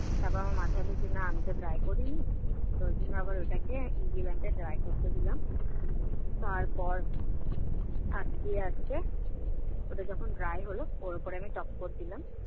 তারপর আমার মাথার মধ্যে এলো যে না আমিতো dry করিনি, তার জন্য আবার ওটাকে blend এ dry করতে দিলাম। তারপর আস্তে আস্তে ওটা যখন dry হলো ওর ওপর আমি top quote দিলাম,